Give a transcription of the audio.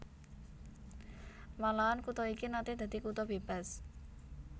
Malahan kutha iki naté dadi kutha bébas